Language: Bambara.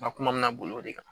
Ma kuma min bolo o de kan